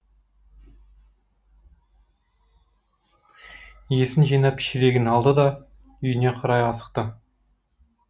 есін жинап шелегін алды да үйіне қарай асықты